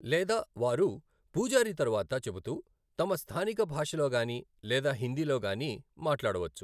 లేదా వారు పూజారి తరువాత చెబుతూ తమ స్థానిక భాషలో గానీ లేదా హిందీలో గానీ మాట్లాడవచ్చు.